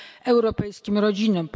europejskim rodzinom.